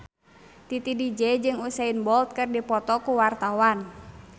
Titi DJ jeung Usain Bolt keur dipoto ku wartawan